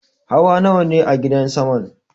Hawa nawane a gidan saman?